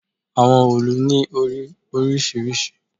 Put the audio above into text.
Àwọn òòlù ni ori orisirisi